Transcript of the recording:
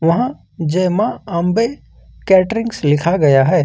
यहां जय मां अंबे कैटरिंग्स लिखा गया है।